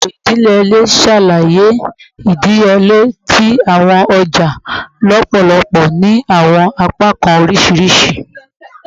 Eto idiyele n ṣalaye idiyele ti awọn ọja lọpọlọpọ ni awọn apakan oriṣiriṣi